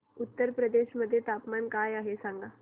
उत्तर प्रदेश मध्ये तापमान काय आहे सांगा